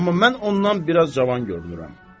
Amma mən ondan biraz cavan görünürəm.